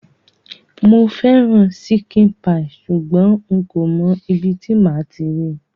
Mo ṣikin paii sugbon nko mo ibi ti màa ti ri